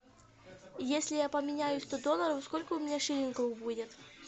если я поменяю сто долларов сколько у меня шиллингов будет